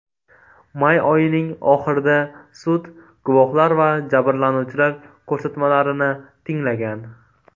May oyining oxirida sud guvohlar va jabrlanuvchilar ko‘rsatmalarini tinglagan .